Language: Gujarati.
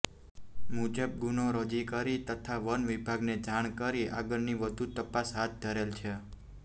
મુજબ ગુનો રજી કરી તથા વનવિભાગને જાણ કરી આગળની વધુ તપાસ હાથ ધરેલ છે